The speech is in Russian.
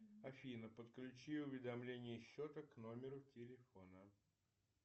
афина подключи уведомление счета к номеру телефона